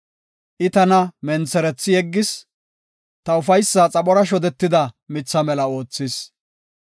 I tana mentherethi yeggis; ta ufaysa xaphora shodetida mitha mela oothis.